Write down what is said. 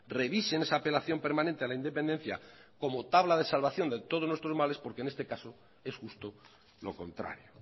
revisen esa apelación permanente a la independencia como tabla de salvación de todos nuestros males porque en este caso es justo lo contrario